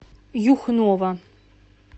юхнова